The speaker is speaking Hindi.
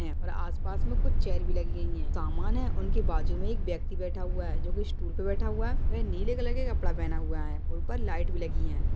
और आसपास में कुछ चेयर भी लगी गई है समान है उनके बाजू मे एक व्यक्ति बैठा हुआ है जो कि स्टूल पे बैठा हुआ है वह नीले कलर के कपड़ा पहना हुआ है ऊपर लाइट भी लगी हुई है।